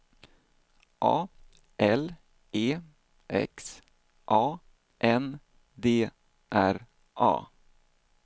A L E X A N D R A